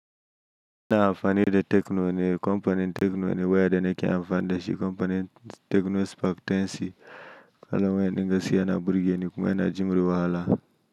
Na amfani da tekno ne, kamfanin tecno ne waya da nake amfani da shi kamfanin tecno spark 10C, kuma yana dinga si yana burge ni kuma yana jure wahala.